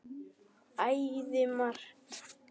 Æði margt.